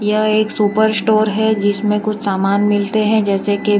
यह एक super store है जिसमें कुछ सामान मिलते हैं जैसे के--